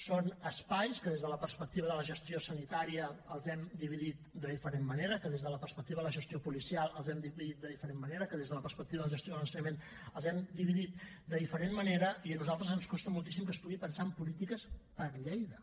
són espais que des de la perspectiva de la gestió sanitària els hem dividit de diferent manera que des de la perspectiva de la gestió policial els hem dividit de diferent manera que des de la perspectiva de la gestió de l’ensenyament els hem dividit de diferent manera i a nosaltres ens costa moltíssim que es pugui pensar en polítiques per a lleida